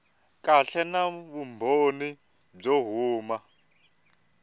kahle na vumbhoni byo huma